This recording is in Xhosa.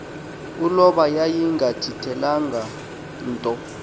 uloba yayingathintelwanga nto